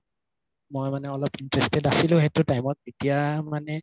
মই মানে interested আছিলো সেইটো time ত এতিয়া মানে